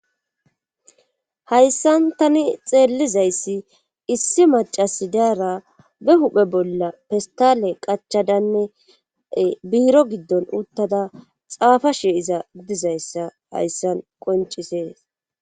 Hayssan tani xeellizayssi issi macasi daara be huphe bolla pestale qachadanne biiro giddon uttada xaafa shi iza dizayssa hayssan qoncisees.